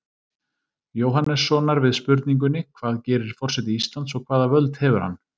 Jóhannessonar við spurningunni Hvað gerir forseti Íslands og hvaða völd hefur hann?